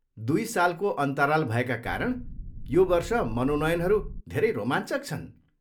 दुई सालको अन्तराल भएका कारण यो वर्ष मनोनयनहरू धेरै रोमाञ्चक छन्।